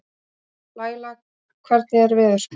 Laíla, hvernig er veðurspáin?